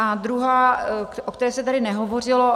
A druhá, o které se tady nehovořilo.